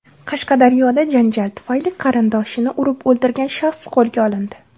Qashqadaryoda janjal tufayli qarindoshini urib o‘ldirgan shaxs qo‘lga olindi.